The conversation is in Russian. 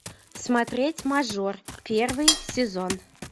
смотреть мажор первый сезон